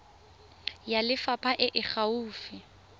ya lefapha e e gaufi